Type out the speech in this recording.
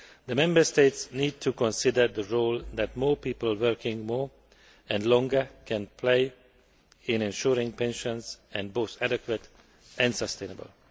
the Member States need to consider the role that more people working more and longer can play in ensuring pensions are both adequate and sustainable.